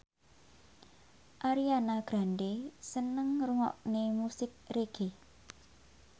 Ariana Grande seneng ngrungokne musik reggae